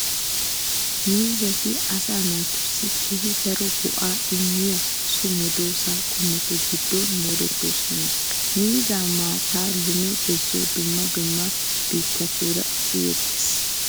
Miizzati asaa naatussi keehi daro go*aa immiya so medoosa qommotu giddon moodettoosona. Miizzaa maattay lume gezuwan dumma dumma biittatun uyettettees.